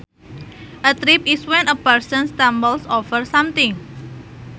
A trip is when a person stumbles over something